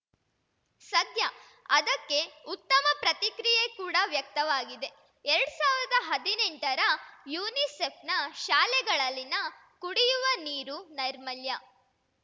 ಸದ್ಯ ಅದಕ್ಕೆ ಉತ್ತಮ ಪ್ರತಿಕ್ರಿಯೆ ಕೂಡ ವ್ಯಕ್ತವಾಗಿದೆ ಎರಡ್ ಸಾವಿರದ ಹದಿನೆಂಟರ ಯುನಿಸೆಫ್‌ನ ಶಾಲೆಗಳಲ್ಲಿನ ಕುಡಿಯುವ ನೀರು ನೈರ್ಮಲ್ಯ